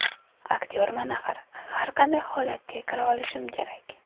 Aktyorman axir, har qanday holatga kira olishim kerak.